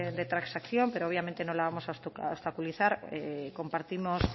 de transacción pero obviamente no la vamos a obstaculizar compartimos